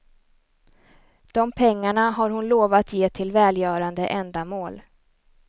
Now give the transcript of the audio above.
De pengarna har hon lovat ge till välgörande ändamål.